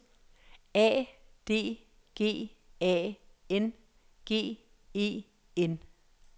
A D G A N G E N